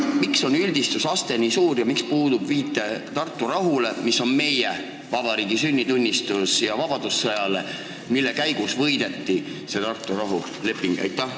Miks on see üldistuse aste nii suur ja miks puudub viide Tartu rahule, mis on meie vabariigi sünnitunnistus, ja vabadussõjale, mille käigus võideti see Tartu rahuleping?